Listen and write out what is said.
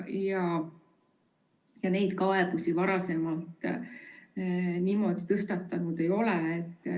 Selliseid kaebusi varem niimoodi esitatud ei ole.